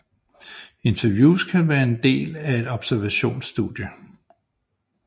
Interviews kan være den del af et observationsstudie